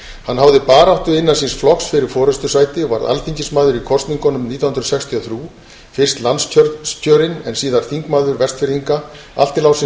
hann háði baráttu innan síns flokks fyrir forustusæti og varð alþingismaður í kosningunum nítján hundruð sextíu og þrjú fyrst landskjörinn en síðar þingmaður vestfirðinga allt til ársins